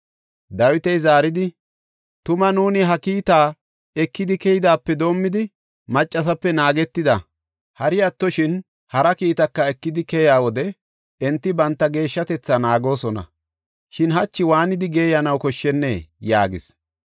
Dawiti zaaridi, “Tuma nuuni ha kiita ekidi keydaape doomidi, maccasape naagetida; hari attoshin hara kiittaka ekidi keyiya wode enti banta geeshshatetha naagoosona. Shin hachi waanidi geeyanaw koshshennee?” yaagis.